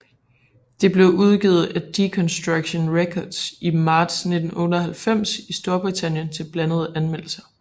Det blev udgivet af Deconstruction Records i marts 1998 i Storbritannien til blandede anmeldelser